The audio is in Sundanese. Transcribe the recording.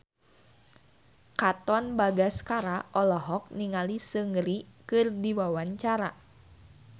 Katon Bagaskara olohok ningali Seungri keur diwawancara